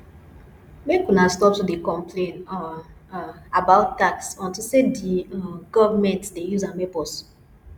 make una stop to dey complain um um about tax unto say the um government dey use am help us